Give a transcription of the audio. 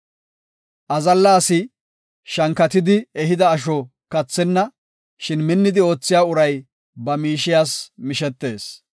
Azalla asi shankatidi ehida asho kathenna; shin minnidi oothiya uray ba miishiyas mishetees.